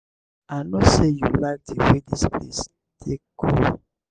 i no say you like the way dis place take cool.